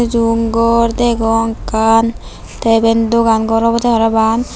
room gor degong ekkan tay iben dogan gor obodey parapang.